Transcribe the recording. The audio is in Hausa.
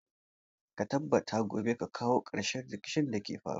Ka tabbata gobe ka kawo ƙarshen rikicin da ke faruwa.